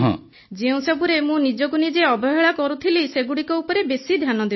ଯେଉଁସବୁରେ ମୁଁ ନିଜକୁ ନିଜେ ଅବହେଳା କରୁଥିଲି ସେଗୁଡ଼ିକ ଉପରେ ବେଶୀ ଧ୍ୟାନ ଦେଉଛି